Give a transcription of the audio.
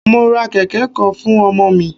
Mo ra kẹ̀kẹ́ kan fún ọmọ mi.